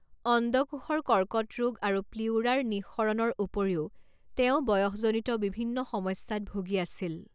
অণ্ডকোষৰ কৰ্কট ৰোগ আৰু প্লিউৰাৰ নিঃসৰণৰ উপৰিও তেওঁ বয়সজনিত বিভিন্ন সমস্যাত ভূগি আছিল।